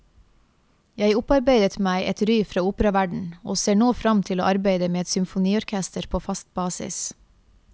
Jeg opparbeidet meg et ry fra operaverden og ser nå frem til å arbeide med et symfoniorkester på fast basis.